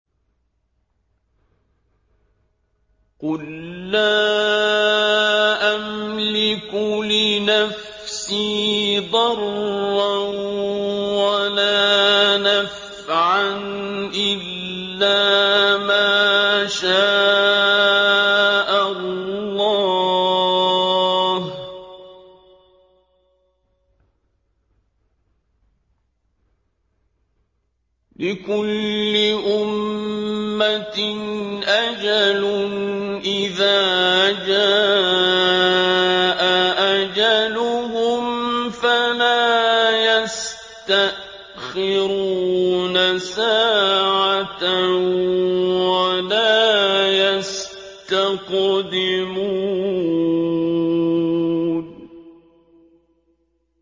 قُل لَّا أَمْلِكُ لِنَفْسِي ضَرًّا وَلَا نَفْعًا إِلَّا مَا شَاءَ اللَّهُ ۗ لِكُلِّ أُمَّةٍ أَجَلٌ ۚ إِذَا جَاءَ أَجَلُهُمْ فَلَا يَسْتَأْخِرُونَ سَاعَةً ۖ وَلَا يَسْتَقْدِمُونَ